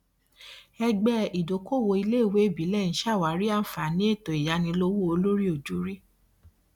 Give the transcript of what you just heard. ẹgbẹ ìdókoòwò iléèwé ìbílẹ ń ṣàwárí àǹfààní ètò ìyánilówó olóríòjorí